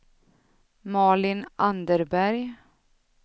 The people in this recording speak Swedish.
Malin Anderberg